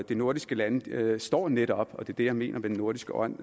de nordiske lande står netop og det er det jeg mener med den nordiske ånd